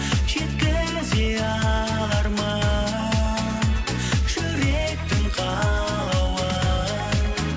жеткізе алармын жүректің қалауын